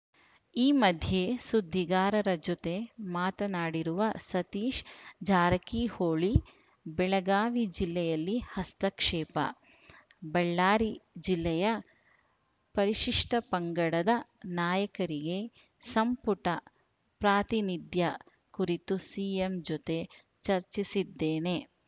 ಈ ಮಧ್ಯೆ ಸುದ್ದಿಗಾರರ ಜೊತೆ ಮಾತನಾಡಿರುವ ಸತೀಶ್‌ ಜಾರಕಿಹೊಳಿ ಬೆಳಗಾವಿ ಜಿಲ್ಲೆಯಲ್ಲಿ ಹಸ್ತಕ್ಷೇಪ ಬಳ್ಳಾರಿ ಜಿಲ್ಲೆಯ ಪರಿಶಿಷ್ಟಪಂಗಡದ ನಾಯಕರಿಗೆ ಸಂಪುಟ ಪ್ರಾತಿನಿಧ್ಯ ಕುರಿತು ಸಿಎಂ ಜೊತೆ ಚರ್ಚಿಸಿದ್ದೇನೆ